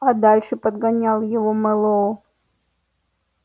а дальше подгонял его мэллоу